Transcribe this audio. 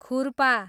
खुर्पा